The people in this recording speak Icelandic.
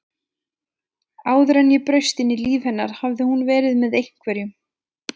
Áður en ég braust inn í líf hennar hafði hún verið með einhverjum